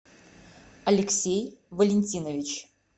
алексей валентинович